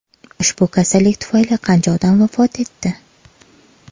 Ushbu kasallik tufayli qancha odam vafot etdi?